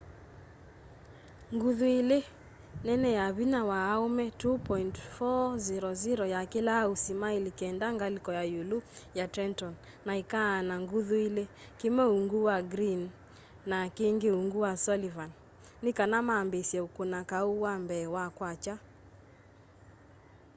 nguthu ila nene ya vinya wa aũme 2.400 yakĩlaa usi maili kenda ngaliko ya iulu ya trenton na ikaana nguthu ili kimwe uungu wa greene na kingi uungu wa sullivan ni kana maambiisye ukuna kau wa mbee wa kwakya